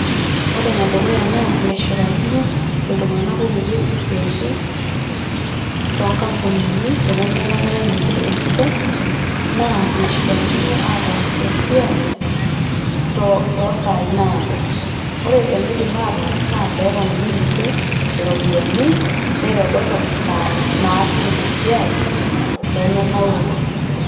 Ore ene dukuya naa meshipakino iltunganak kutitik isiatin toonkampunini nemelakitae ninche esidai naa eshipakino ataas esiai toosai naado. ore enaidim ataas naa peponiki ninche iropiyiani nitodorop isaai naas ninche esiai pemenauru.